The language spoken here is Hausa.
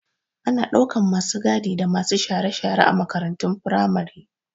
Ana ɗaukan masu gadi da masu share-share a makarantun firamare